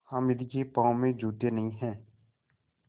हामिद के पाँव में जूते नहीं हैं